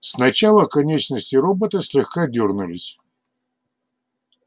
сначала конечности робота слегка дёрнулись